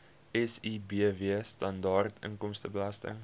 sibw standaard inkomstebelasting